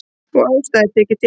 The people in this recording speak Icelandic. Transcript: Og ástæða þykir til.